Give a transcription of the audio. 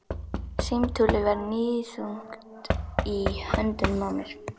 Símtólið var níðþungt í höndunum á mér.